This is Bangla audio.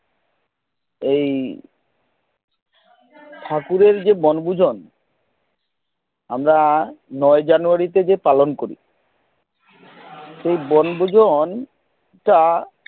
এই ঠাকুরের যে বনভোজন আমরা নৌ January থেকে পালন করি সে বনভোজন টা